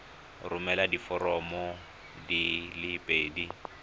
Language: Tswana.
romela diforomo di le pedi